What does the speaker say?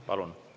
Palun!